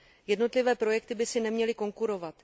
Jednotlivé projekty by si neměly konkurovat.